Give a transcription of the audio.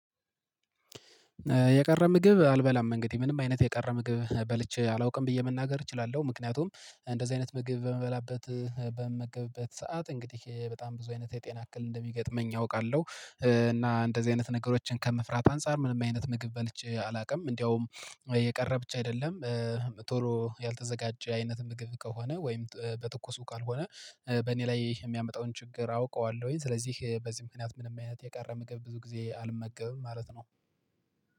የቀረ ምግብ አልበላም፤ እንግዲህ ምንም አይነት የቀረ ምግብ በልቼ አላውቅም ብዬ መናገር እችላለሁ። ምክንያቱም አይነት ምግብ በምበላበት በምመገብበት ሰዓት እንግዲህ በጣም ብዙ አይነት የጤና እክል እንደሚገጥመኝ አውቃለሁ። እና እንደዚህ አይነት ነገሮችን ከመፍራት አንፃር ምንም አይነት ምግብ በልቼ አላውቅም። እንዲያውም የቀረ ብች አይደለም፣ ቶሎ ያልተዘጋጀ አይነት ምግብ ከሆነ ወይም በትኩሱ ካልሆነ በእኔ ላይ የሚያመጣውን ችግር አውቀዋለሁኝ። ስለዚህ በዚህ ምክንያት ምንም አይነት የቀረ ምግብ ብዙ ጊዜ አልመገብም ማለት ነው።